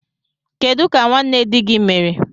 Kedu ka nwanne di gị mere?